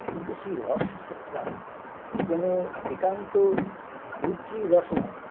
কিন্তু সেই রস টা কোন একান্ত বুদ্ধির রস নয়